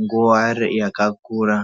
nguwa yakakura.